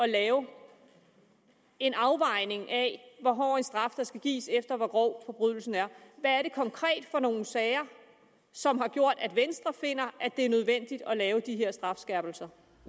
lave en afvejning af hvor hård en straf der skal gives alt efter hvor grov forbrydelsen er hvad er det konkret for nogle sager som har gjort at venstre finder at det er nødvendigt at lave de her strafskærpelser